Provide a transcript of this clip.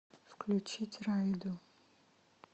включить райду